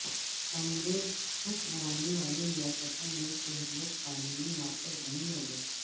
کانگریس حکمرانی والی ریاستوں میں شہریت قانون نافذ نہیں ہوگا